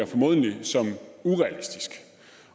formodentligt